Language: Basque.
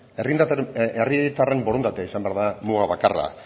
herritarren borondatea izan behar da muga bakarra